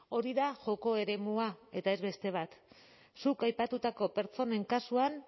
hori da joko eremua eta ez beste bat zuk aipatutako pertsonen kasuan